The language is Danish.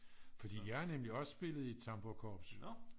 fordi jeg har nemlig også spillet i et tamburkorps